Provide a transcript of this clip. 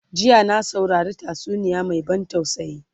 jiya na saurari tatsuniya Mai ban tausayi